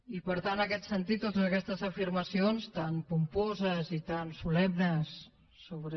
i per tant en aquest sentit totes aquestes afirmacions tan pomposes i tan solemnes sobre